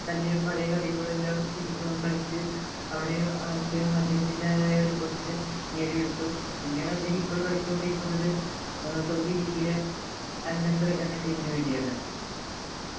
തൻ്റെ പഴയ കളികൾ എല്ലാം തിരി കളിച്ചു അവിടെ അദ്ദേഹം അദ്ദേഹത്തിൻ്റെതായ ഒരു position നേടിയെടുത്തു പിന്നീട് അദ്ദേഹം ഇപ്പോൾ കളിച്ചുകൊണ്ടിരിക്കുന്നത് saudi league ലെ al nasr എന്ന team നു വേണ്ടിയാണു